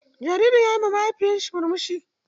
Jaririn ya yi ma mahaifiyarsa murmushi.